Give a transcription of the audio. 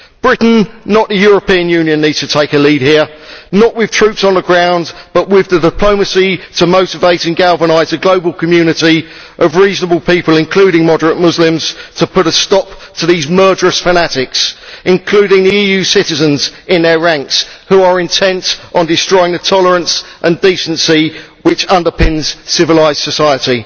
Britain, not the European Union, needs to take a lead here, not with troops on the ground but with the diplomacy to motivate and galvanise a global community of reasonable people, including moderate Muslims, to put a stop to these murderous fanatics including EU citizens in their ranks who are intent on destroying the tolerance and decency which underpins civilised society.